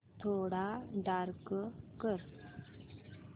थोडा डार्क कर